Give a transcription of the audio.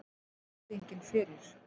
En virðingin fyrir